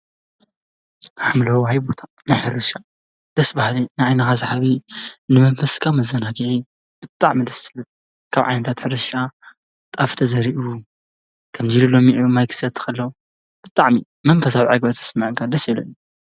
ሓምለዋይ ቦታ ናይ ሕርሻ ደስ በሃሊ፤ ንዓይንካ ሰሓቢ ንመንፈስካ መዘናጊዒ ብጣዕሚ ደስ ዝብል። ካብ ዓይነታት ሕርሻ ጣፍ ተዘሪኡ ከምዚ ኢሉ ለሚዑ ማይ ክሰቲ ከሎ ብጣዕሚ መንፈሳዊ ዕገበት ዝስመዐካ ደስ ይብለኒ፡፡